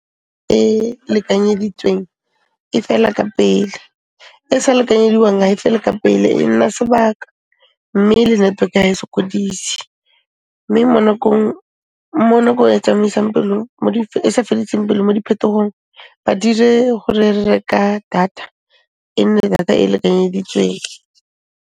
E lekanyeditsweng, e fela ka pele, e sa lekanyediwang ha e fele ka pele, e nna sebaka mme le network, ha e sokodise, mme mo nakong e tsamaisang pelo, e sa fediseng pelo mo diphetogong, ba dire gore re reka data, e nne data e e lekanyeditsweng.